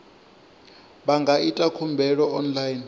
vha nga ita khumbelo online